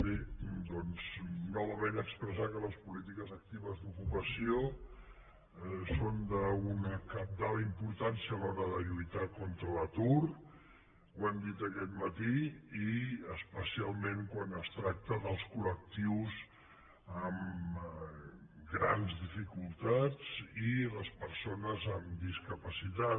bé doncs novament expressar que les polítiques actives d’ocupació són d’una cabdal importància a l’hora de lluitar contra l’atur ho hem dit aquest matí i especialment quan es tracta dels col·lectius amb grans dificultats i les persones amb discapacitat